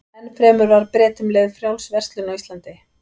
Enn fremur var Bretum leyfð frjáls verslun á Íslandi.